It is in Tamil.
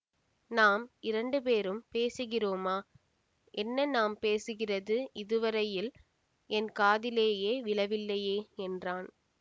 நாம் இரண்டு பேரும் பேசுகிறோமா என்ன நாம் பேசுகிறது இதுவரையில் என் காதிலேயே விழவில்லையே என்றான்